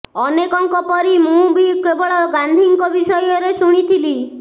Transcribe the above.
ଅନେକଙ୍କ ପରି ମୁଁ ବି କେବଳ ଗାନ୍ଧୀଙ୍କ ବିଷୟରେ ଶୁଣିଥିଲି